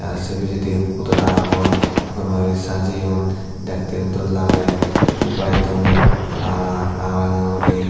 ar se pissendi hodora agon gome uri sajeyon dekke yo dol lage jempai don hala hala ranga ranga guri.